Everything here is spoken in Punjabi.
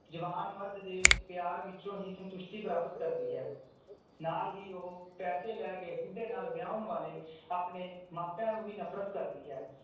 ਜਵਾਨ ਮਰਦ ਦੇ ਪਿਆਰ ਵਿਚੋਂ ਹੀ ਸੰਤੁਸ਼ਟੀ ਪ੍ਰਾਪਤ ਕਰਦੀ ਹੈ ਨਾਲ ਹੀ ਉਹ ਪੈਸੇ ਲੈਕੇ ਬੁੱਢੇ ਨਾਲ ਵਯਉਣ ਵਾਲੇ ਆਪਣੇ ਮਾਪਿਆਂ ਨੂੰ ਵੀ ਨਫਰਤ ਕਰਦੀ ਹੈ